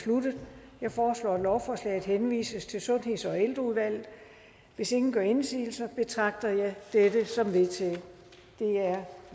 sluttet jeg foreslår at lovforslaget henvises til sundheds og ældreudvalget hvis ingen gør indsigelse betragter jeg det som vedtaget det er